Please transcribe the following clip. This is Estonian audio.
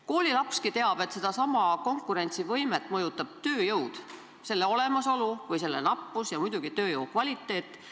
Koolilapski teab, et konkurentsivõimet mõjutab tööjõud – selle olemasolu või selle nappus, ja muidugi tööjõu kvaliteet.